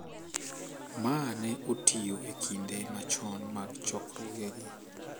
Ma ne otiyo e kinde machon mag chokruogegi,